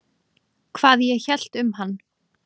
Hvað ég hélt um hann?